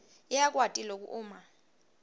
yakwati loku uma